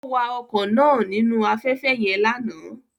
Ó wa ọkọ̀ náà nínú afẹ́fẹ́ yẹn lánàá